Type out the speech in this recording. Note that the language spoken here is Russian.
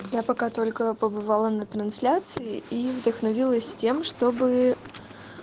я пока только побывала на трансляции и вдохновилась тем чтобы